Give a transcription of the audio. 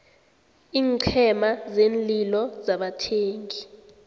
iinqhema zeenlilo zabathengi